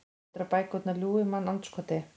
Heldurðu að bækurnar ljúgi, mannandskoti?